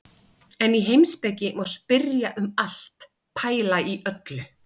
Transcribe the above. En í heimspeki má spyrja um allt, pæla í öllu.